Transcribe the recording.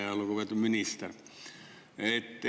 Ja lugupeetud minister!